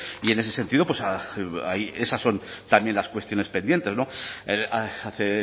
y en ese sentido ahí esas son también las cuestiones pendientes hace